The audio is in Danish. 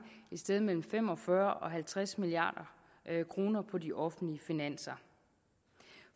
sted mellem fem og fyrre milliard kroner og halvtreds milliard kroner på de offentlige finanser